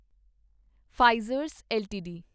Pfizer LTD